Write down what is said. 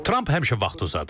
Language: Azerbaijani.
Tramp həmişə vaxtı uzadır.